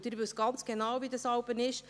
Sie wissen ganz genau, wie es ist.